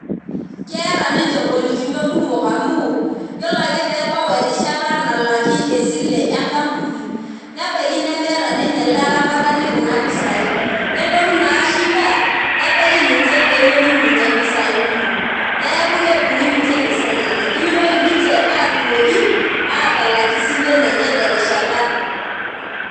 Keeta ninche ngolikinot kumok amu , yiolo ake pebau erishata nalaki esile enkampuni nebaiki ninye nemeeta ele aramatani kuna pisai , nelotu naa shida nebaiki ninche pemetum ninche impisai kumok neeku kedungi ninche impisai enye , nimitoki ninche atumoki atalak isilen enye terishata.